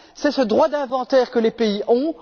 C'est ce droit d'inventaire que les pays ont.